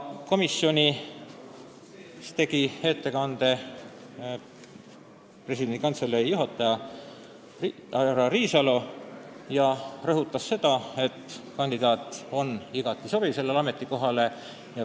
Ettekande tegi Presidendi Kantselei juhataja härra Riisalo, kes rõhutas, et riigikontrolöri kandidaat on sellele ametikohale igati sobiv.